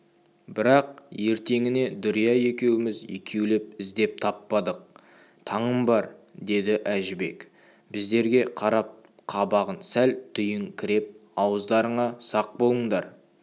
бірақ ертеңіне дүрия екеуміз екеулеп іздеп таппадық таңым бар деді әжібек біздерге қарап қабағын сәл түйіңкіреп ауыздарыңа сақ болыңдар